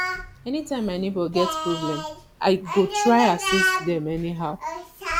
anytime my neighbor get problem i go try assist dem anyhow